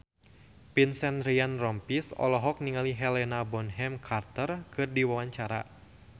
Vincent Ryan Rompies olohok ningali Helena Bonham Carter keur diwawancara